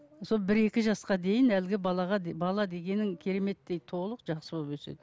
сол бір екі жасқа дейін әлгі балаға бала дегенің кереметтей толық жақсы болып өседі